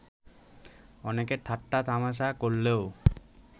অনেকে ঠাট্টা তামাশা করলেও